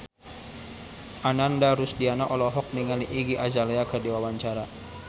Ananda Rusdiana olohok ningali Iggy Azalea keur diwawancara